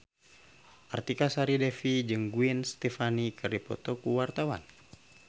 Artika Sari Devi jeung Gwen Stefani keur dipoto ku wartawan